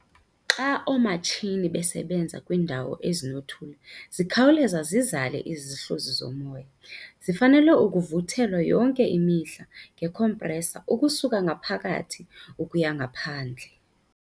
Xa oomatshini besebenza kwiindawo ezinothuli zikhawuleza zizale izihluzi zomoya. Zifanele ukuvuthelwa yonke imihla ngekhompresa ukusuka ngaphakathi ukuya ngaphandle.